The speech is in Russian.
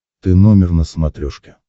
ты номер на смотрешке